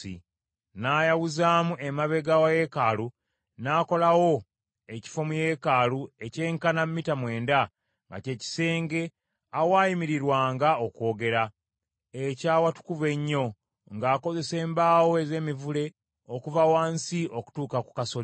N’ayawuzaamu emabega wa yeekaalu, n’akolawo ekifo mu yeekaalu ekyenkana mita mwenda, nga ky’ekisenge awaayimirirwanga okwogera, eky’awatukuvu ennyo, ng’akozesa embaawo ez’emivule okuva wansi okutuuka ku kasolya.